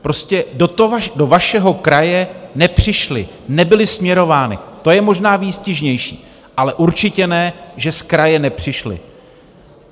Prostě do vašeho kraje nepřišly, nebyly směrovány, to je možná výstižnější, ale určitě ne, že z kraje nepřišly.